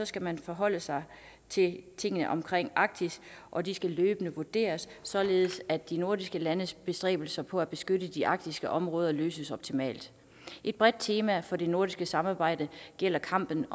skal man forholde sig til tingene omkring arktis og de skal løbende vurderes således at de nordiske landes bestræbelser på at beskytte de arktiske områder løses optimalt et bredt tema for det nordiske samarbejde er kampen